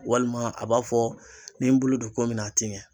Walima a b'a fɔ n'i ye n bolo don ko min na a te ɲɛ